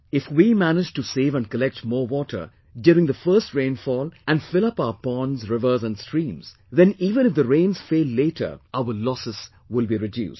If we manage to save and collect more water during the first rainfall and fill up our ponds, rivers and streams, then even if the rains fail later, our losses will be reduced